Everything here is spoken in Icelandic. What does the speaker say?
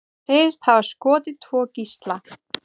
Segist hafa skotið tvo gísla